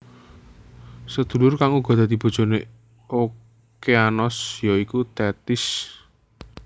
Sedulur kang uga dadi bojone Okeanos ya iku Tethis